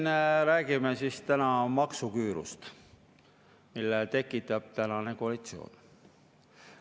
No me siin räägime täna maksuküürust, mille tekitab praegune koalitsioon.